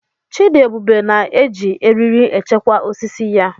Chidiebube na-eji eriri echekwa osisi ya.